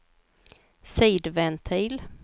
sidventil